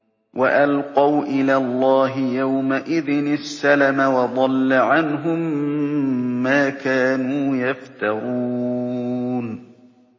وَأَلْقَوْا إِلَى اللَّهِ يَوْمَئِذٍ السَّلَمَ ۖ وَضَلَّ عَنْهُم مَّا كَانُوا يَفْتَرُونَ